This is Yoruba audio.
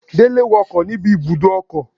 Dele wo ọkọ níbi ibùdó ọkọ̀